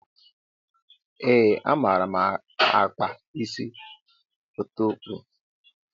Ee a maara m akpa isi ọtukwuru.